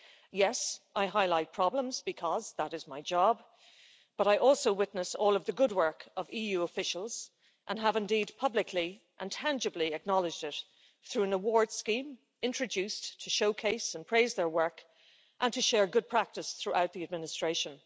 Yes, I highlight problems, because that is my job, but I also witness all of the good work of EU officials and have indeed publicly and tangibly acknowledged it through an awards scheme introduced to showcase and praise their work and to share good practice throughout the administration.